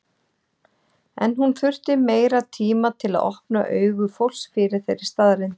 En hún þurfti meiri tíma til að opna augu fólks fyrir þeirri staðreynd.